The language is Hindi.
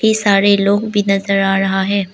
ये सारे लोग भी नजर आ रहा है।